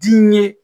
Diɲɛ